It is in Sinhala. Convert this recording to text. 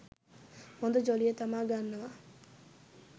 හොඳ ජොලිය තමා ගන්නවා.